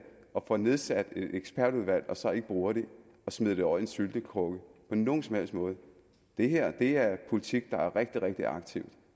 og får nedsat et ekspertudvalg og så ikke bruger det og smider det over i en syltekrukke på nogen som helst måde det her er politik der er rigtig rigtig aktiv